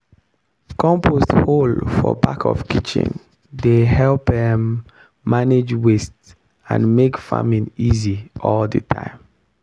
compost hole for back of kitchen dey help um manage waste and make farming easy all the time.